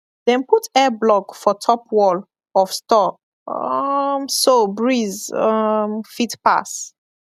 dem put air block for top wall of store um so breeze um fit pass